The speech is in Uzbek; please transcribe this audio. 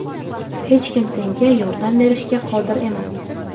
hech kim senga yordam berishga qodir emas.